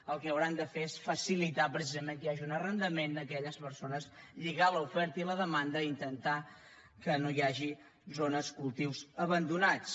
el que hauran de fer és facilitar precisament que hi hagi un arrendament a aquelles persones lligar l’oferta i la demanda i intentar que no hi hagi zones cultius abandonats